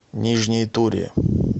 нижней туре